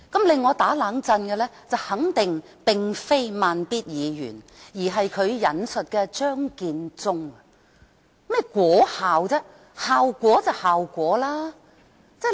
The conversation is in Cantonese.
令我有這種反應的肯定並非"慢咇"議員，而是他引述張建宗所說的"果效"。